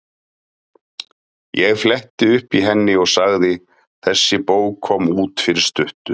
Ég fletti upp í henni og sagði: Þessi bók kom út fyrir stuttu.